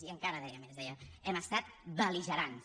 i encara deia més deia hem estat bel·ligerants